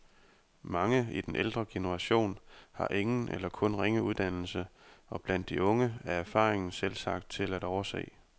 Mange i den ældre generation har ingen eller kun ringe uddannelse, og blandt de unge er erfaringen selvsagt til at overse.